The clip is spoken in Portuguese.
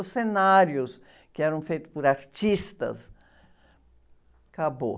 Os cenários que eram feitos por artistas, acabou.